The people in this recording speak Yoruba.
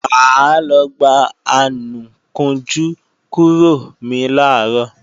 Mà á lọ gba anùkunjú kúrò mi làárọ̀